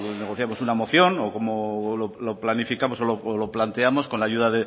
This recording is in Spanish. negociamos una moción o cómo lo planificamos o lo planteamos con la ayuda